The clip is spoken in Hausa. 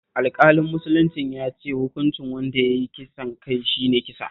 Alƙalin musuluncin ya ce hukuncin wanda ya yi kisan kai shi ne kisa